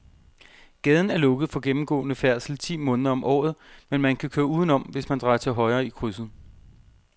Gaden er lukket for gennemgående færdsel ti måneder om året, men man kan køre udenom, hvis man drejer til højre i krydset.